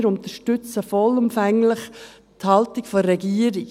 Wir unterstützen vollumfänglich die Haltung der Regierung.